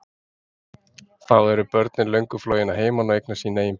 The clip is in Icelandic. Þá eru börnin löngu flogin að heiman og hafa eignast sín eigin börn.